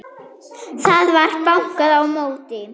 Það var bankað á móti.